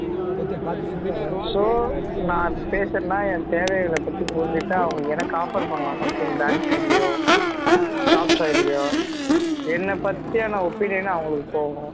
so நான் இப்போ பேசுறேன்னா என் தேவைகல பத்தி பேசிட்டு அவுங்க எனக்கு offer பண்ணலாம் something bank side லயோ shop side லயோ என்ன பத்தின opinion அவுங்களுக்கு போகும்